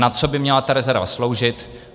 Na co by měla ta rezerva sloužit.